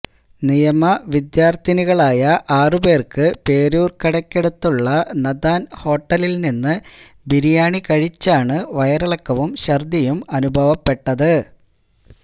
നിയമ വിദ്യാര്ത്ഥിനികളായ ആറ് പേര്ക്ക് പേരൂര്ക്കടയ്ക്കടുത്തുള്ള നഥാന് ഹോട്ടലില്നിന്ന് ബിരിയാണി കഴിച്ചാണ് വയറിളക്കവും ഛര്ദ്ദിയും അനുഭവപ്പെട്ടത്